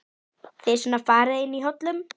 Þið svona farið inn í hollum?